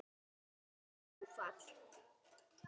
Þvílíkt áfall.